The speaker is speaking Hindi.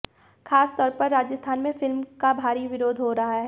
खासतौर पर राजस्थान में फिल्म का भारी विरोध हो रहा है